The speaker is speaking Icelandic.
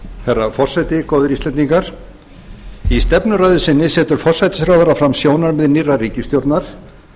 herra forseti góðir íslendingar í stefnuræðu sinni setur forsætisráðherra fram sjónarmið nýrrar ríkisstjórnar